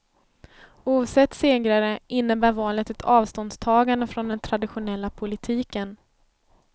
Ovsett segrare, innebär valet ett avståndstagande från den traditionella politiken.